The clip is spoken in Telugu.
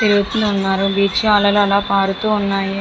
తిరుగుతున్నారు బీచ్ లో అలలు అలా పారుతున్నాయి.